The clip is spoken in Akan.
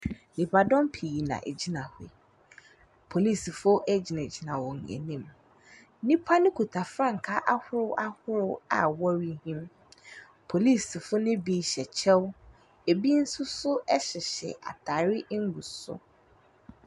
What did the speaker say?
Nipa dɔm pii na egyina hɔ. Polisifoɔ egyinagyina wɔn enim. Nipa no kita frankaa ahorow ahorow a wɔrehim. Polisifo ne bi hyɛ kyɛw, ebi soso ehyehyɛ ataare egu so.